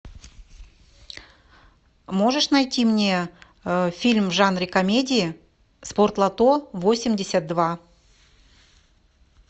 можешь найти мне фильм в жанре комедии спортлото восемьдесят два